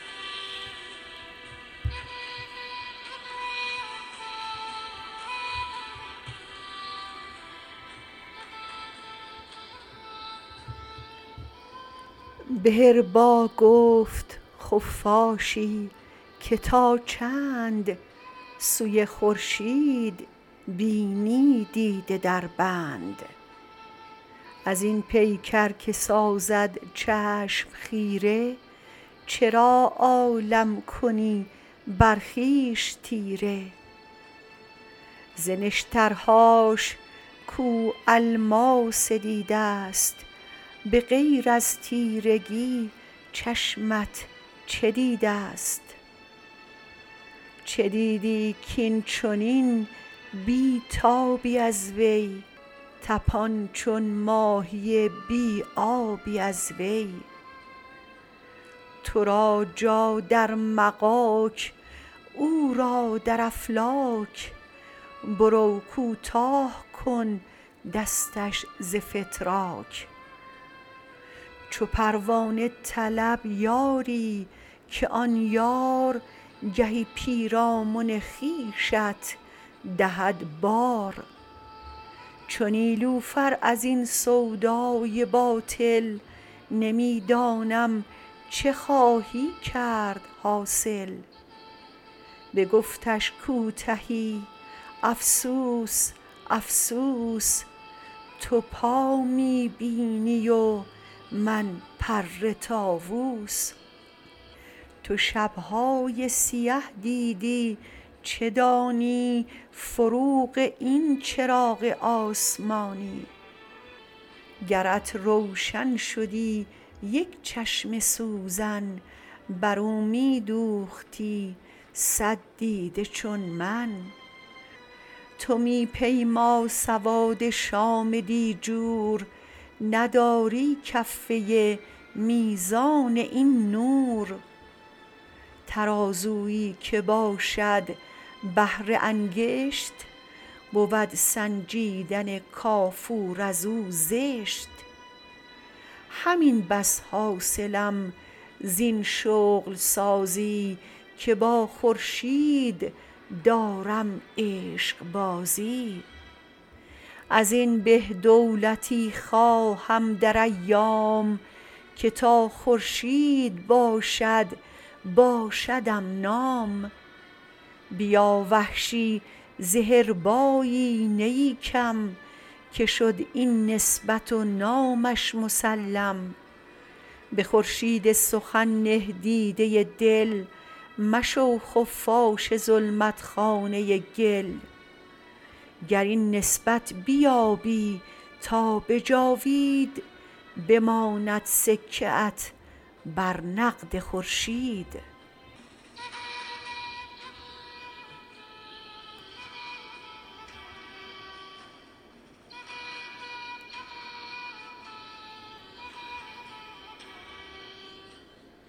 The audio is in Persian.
به حربا گفت خفاشی که تا چند سوی خورشید بینی دیده دربند ازین پیکر که سازد چشم خیره چرا عالم کنی بر خویش تیره ز نشترهاش کاو الماس دیده ست به غیر از تیرگی چشمت چه دیده ست چه دیدی کاینچنین بی تابی از وی تپان چون ماهی بی آبی از وی ترا جا در مغاک او را در افلاک برو کوتاه کن دستش ز فتراک چو پروانه طلب یاری که آن یار گهی پیرامن خویشت دهد بار چو نیلوفر از این سودای باطل نمی دانم چه خواهی کرد حاصل بگفتش کوتهی افسوس افسوس تو پا می بینی و من پر تاووس تو شبهای سیه دیدی چه دانی فروغ این چراغ آسمانی گرت روشن شدی یک چشم سوزن بر او می دوختی سد دیده چون من تو می پیما سواد شام دیجور نداری کفه میزان این نور ترازویی که باشد بهر انگشت بود سنجیدن کافور از او زشت همین بس حاصلم زین شغل سازی که با خورشید دارم عشقبازی ازین به دولتی خواهم در ایام که تا خورشید باشد باشدم نام بیا وحشی ز حربایی نیی کم که شد این نسبت و نامش مسلم به خورشید سخن نه دیده دل مشو خفاش ظلمت خانه گل گر این نسبت بیابی تا به جاوید بماند سکه ات بر نقد خورشید